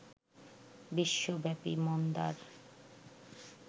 বিশ্বব্যাপী মন্দার